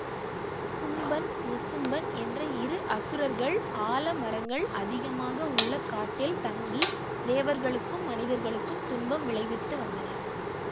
சும்பன் நிசும்பன் என்ற இரு அசுரர்கள் ஆலமரங்கள் அதிகமாக உள்ள காட்டில் தங்கி தேவர்களுக்கும் மனிதர்களுக்கும் துன்பம் விளைவித்து வந்தனர்